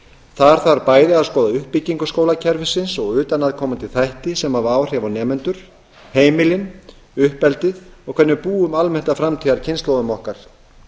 þar þarf bæði að skoða uppbyggingu skólakerfisins og utanaðkomandi þætti sem hafa áhrif á nemendur heimilin uppeldið og hvernig við búum almennt að framtíðarkynslóðum okkar